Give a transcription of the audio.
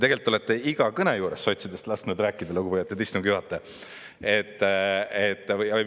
Tegelikult te olete iga kõne juures sotsidest lasknud rääkida, lugupeetud istungi juhataja.